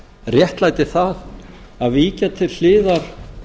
réttlæti það að víkja til hliðar